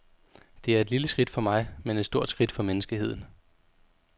Det er et lille skridt for mig, men et stort skridt for menneskeheden.